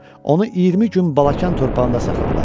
Onu 20 gün Balakən torpağında saxladılar.